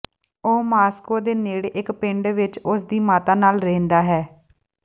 ਉਹ ਮਾਸਕੋ ਦੇ ਨੇੜੇ ਇਕ ਪਿੰਡ ਵਿਚ ਉਸ ਦੀ ਮਾਤਾ ਨਾਲ ਰਹਿੰਦਾ ਹੈ